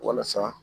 Walasa